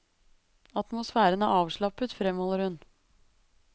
Atmosfæren er avslappet, fremholder hun.